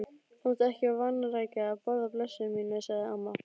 Þú mátt ekki vanrækja að borða, blessuð mín, sagði amma.